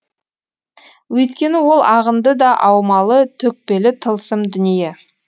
өйткені ол ағынды да аумалы төкпелі тылсым дүние